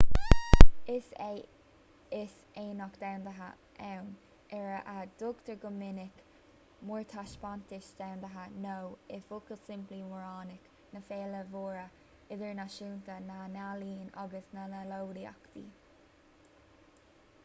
is é is aonach domhanda ann ar a dtugtar go minic mórthaispeántas domhanda nó i bhfocal simplí móraonach ná féile mhór idirnáisiúnta na n-ealaíon agus na n-eolaíochtaí